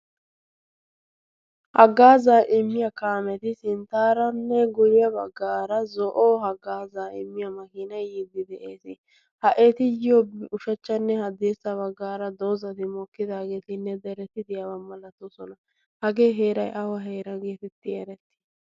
haggaa zaa immiyaa kaameti sinttaaranne guiyaa baggaara zo'o haggaa zaa immiya makiina yiiddi de'ees ha'etiyyo ushachchanne haddiessa baggaara doozati mookkidaageetinne dereti diyaawa malatoosona. hagee heerai awa heera geetetti eretti?